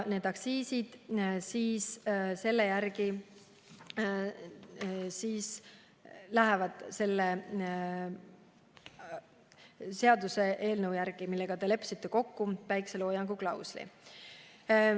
Aktsiisid lähevad selle seaduseelnõu järgi, millega te leppisite kokku päikeseloojangu klausli.